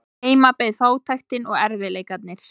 Heima beið fátæktin og erfiðleikarnir.